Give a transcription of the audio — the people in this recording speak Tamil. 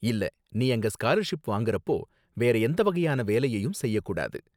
இல்ல, நீ அங்க ஸ்காலர்ஷிப் வாங்குறப்போ வேற எந்த வகையான வேலையையும் செய்யக் கூடாது.